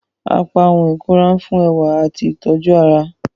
Apá ohùn ikunra nfun ẹwa ati itoju ará.